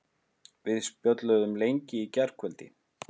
Við spjölluðum lengi í gærkvöldi.